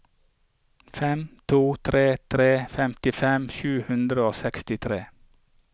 fem to tre tre femtifem sju hundre og sekstitre